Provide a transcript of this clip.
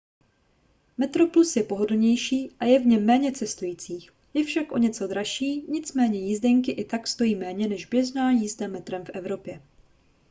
metroplus je pohodlnější a je v něm méně cestujících je však o něco dražší nicméně jízdenky i tak stojí méně než běžná jízda metrem v evropě